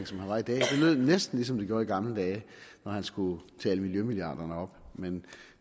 lød næsten ligesom det gjorde i gamle dage når han skulle tale miljømilliarderne op men